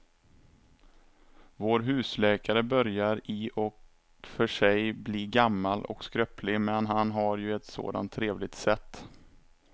Vår husläkare börjar i och för sig bli gammal och skröplig, men han har ju ett sådant trevligt sätt!